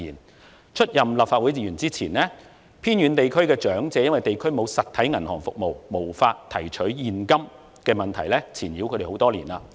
在我出任立法會議員前，偏遠地區的長者被地區沒有實體銀行服務而無法提取現金的問題纏繞多年。